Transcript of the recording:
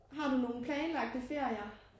Har du nogen planlagte ferier?